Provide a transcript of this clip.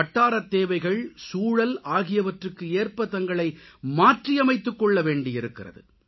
வட்டாரத்தேவைகள் சூழல் ஆகியவற்றுக்கு ஏற்ப தங்களை மாற்றியமைத்துக் கொள்ளவேண்டி இருக்கிறது